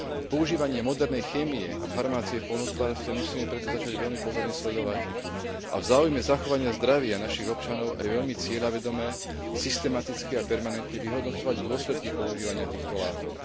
Používanie modernej chémie a farmácie v poľnohospodárstve musíme preto začať veľmi pozorne sledovať a v záujme zachovania zdravia našich občanov aj veľmi cieľavedome, systematicky a permanentne vyhodnocovať dôsledky používania týchto látok.